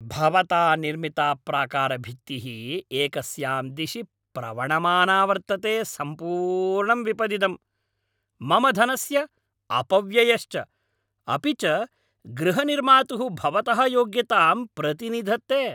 भवता निर्मिता प्राकारभित्तिः एकस्यां दिशि प्रवणमाना वर्तते सम्पूर्णं विपदिदं, मम धनस्य अपव्ययश्च, अपि च गृहनिर्मातुः भवतः योग्यतां प्रतिनिधत्ते।